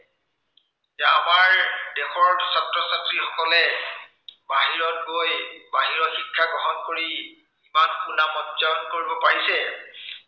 যে আমাৰ দেশৰ ছাত্ৰ-ছাত্ৰীসকলে, বাহিৰত গৈ বাহিৰৰ শিক্ষা গ্ৰহণ কৰি ইমান সুনাম অৰ্জন কৰিব পাৰিছে।